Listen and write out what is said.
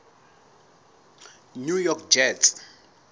new york jets